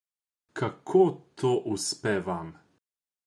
Kako to uspe vam?